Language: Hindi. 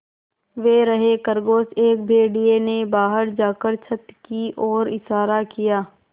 वे रहे खरगोश एक भेड़िए ने बाहर जाकर छत की ओर इशारा किया